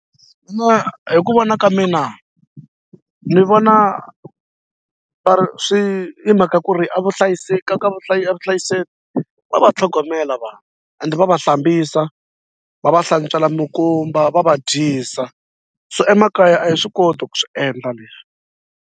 Mina hi ku vona ka mina ni vona va ri swi hi mhaka ku ri a vuhlayiseki ka ka vuhlayiseki va va tlhogomela vanhu ende va va hlambisa va va hlantswela mikumba va va dyisa so emakaya a hi swi koti ku swi endla leswi.